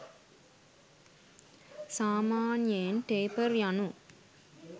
සාමාන්‍යයෙන් ටේපර් යනු